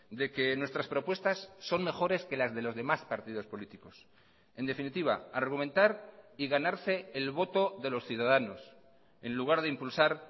de que nuestras propuestas son mejores que las de los demás partidos políticos en definitiva argumentar y ganarse el voto de los ciudadanos en lugar de impulsar